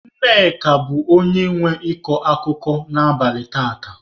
Nne bụ onye nwe ịkọ akụkọ n'abalị taata.